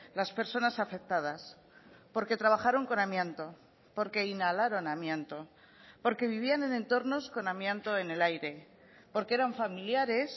las personas afectadas porque trabajaron con amianto porque inhalaron amianto porque vivían en entornos con amianto en el aire porque eran familiares